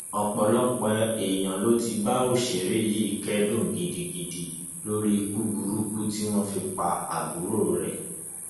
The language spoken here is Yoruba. ọpọlọpọ èèyàn ló ti ń bá òṣèré yìí kẹdùn gidigidi lórí ikú burúkú tí wọn fi pa àbúrò rẹ